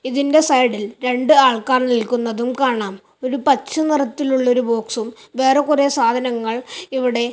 ഇതിൻ്റെ സൈഡിൽ രണ്ട് ആൾക്കാർ നിൽക്കുന്നതും കാണാം ഒരു പച്ച നിറത്തിലുള്ളൊരു ബോക്സും വേറെ കുറെ സാധനങ്ങൾ ഇവിടെ--